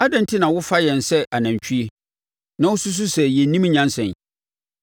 Adɛn enti na wofa yɛn sɛ anantwie na wosusu sɛ yɛnnim nyansa yi?